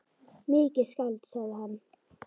Mikið skáld, sagði hann.